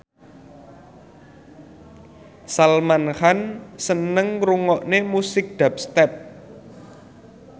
Salman Khan seneng ngrungokne musik dubstep